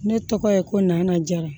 Ne tɔgɔ ye ko nana jara